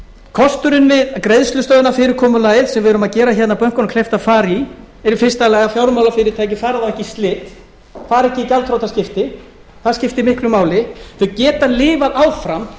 kosturinn við greiðslustöðvunarfyrirkomulagið sem við erum að gera hérna bönkunum kleift að fara í er í fyrsta lagi að fjármálafyrirtæki fari þá ekki í slit fari ekki í gjaldþrotaskipti það skiptir miklu máli bankarnir geta lifað áfram